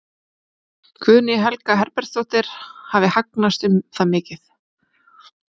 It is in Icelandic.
Guðný Helga Herbertsdóttir: Hafi hagnast um það mikið?